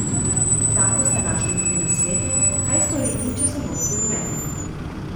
Tam boste našli tudi nasvete, kaj storiti, če so nohti rumeni.